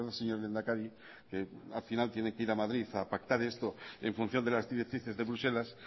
señor lehendakari que al final tiene que ir a madrid a pactar esto en función de las directrices de bruselas